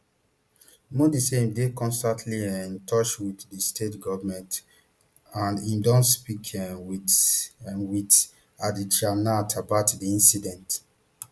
modi say im dey constantly um in touch wit di state goment and im don speak um wit um wit adityanath about di incident